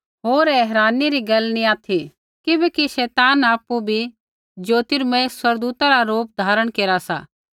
होर ऐ हैरानी री गैल नैंई ऑथि किबैकि शैतान आपु भी ज्योतिमर्य स्वर्गदूतै रा रूप धारण केरा सा